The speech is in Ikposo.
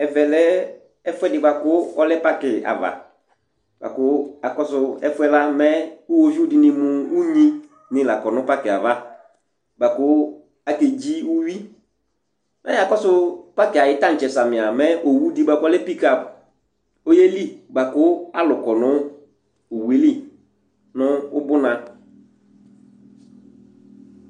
Ɛvɛ lɛ ɛfʋɛdɩ bʋa kʋ ɔlɛ pakɩ ava bʋa kʋ akɔsʋ ɛfʋ yɛ la mɛ iɣoviu dɩnɩ mʋ unyinɩ la kɔ nʋ pakɩ yɛ ava bʋa kʋ akedzi uyui, mɛ mʋ akɔsʋ pakɩ yɛ ayʋ taŋtsɛ samɩ a, owu dɩ bʋa kʋ ɔlɛ pikap ɔyeli bʋa kʋ alʋ kɔ nʋ owu yɛ li nʋ ʋbʋna